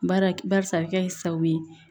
Bari barisa a bɛ kɛ sababu ye